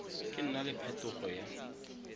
ka nna le phetogo ya